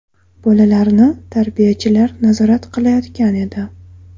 Bolalarni tarbiyachilar nazorat qilayotgan edi.